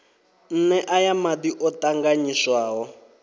nee aya madi o tanganyiswaho